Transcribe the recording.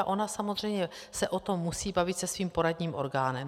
A ona samozřejmě se o tom musí bavit se svým poradním orgánem.